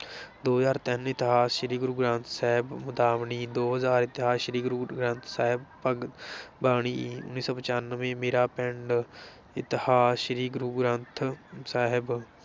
ਦੋ ਹਜ਼ਾਰ ਤਿੰਨ ਇਤਿਹਾਸ ਸ਼੍ਰੀ ਗੁਰੂ ਗਰੰਥ ਸਾਹਿਬ, ਮੁਦਾਵਣੀ ਦੋ ਹਜ਼ਾਰ ਇਤਿਹਾਸ ਸ਼੍ਰੀ ਗੁਰੂ ਗਰੰਥ ਸਾਹਿਬ, ਭਗ ਬਾਣੀ ਉੱਨੀ ਸੌ ਪਚਾਨਵੇਂ ਮੇਰਾ ਪਿੰਡ, ਇਤਿਹਾਸ ਸ਼੍ਰੀ ਗੁਰੂ ਗਰੰਥ ਸਾਹਿਬ